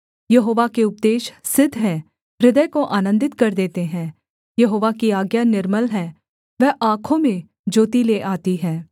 यहोवा के उपदेश सिद्ध हैं हृदय को आनन्दित कर देते हैं यहोवा की आज्ञा निर्मल है वह आँखों में ज्योति ले आती है